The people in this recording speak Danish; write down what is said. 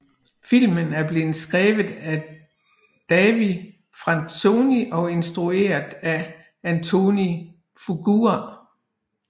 Filmen blev skrevet af David Franzoni og instrueret af Antoine Fuqua